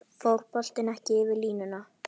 Fór boltinn ekki yfir línuna?